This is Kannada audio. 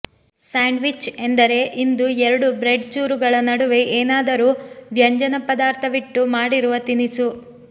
ಸ್ಯಾಂಡ್ವಿಚ್ ಎಂದರೆ ಇಂದು ಎರಡು ಬ್ರೆಡ್ ಚೂರುಗಳ ನಡುವೆ ಏನಾದರೂ ವ್ಯಂಜನಪದಾರ್ಥವಿಟ್ಟು ಮಾಡಿರುವ ತಿನಿಸು